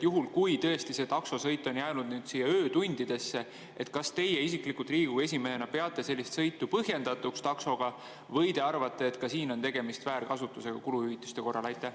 Juhul kui tõesti see taksosõit jääb öötundidesse, siis kas teie isiklikult Riigikogu esimehena peate sellist taksosõitu põhjendatuks või te arvate, et ka siin on tegemist kuluhüvitiste korra väärkasutusega?